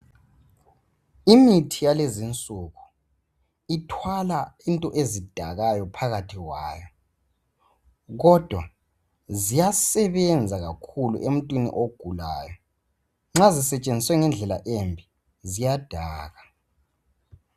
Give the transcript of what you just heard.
Imithi yalezinsuku ithwala into ezidakayo phakathi kwayo kodwa ziyasebenza kakhulu emuntwini ogulayo nxa sisetshenziswa ngendlela embi ziyadaka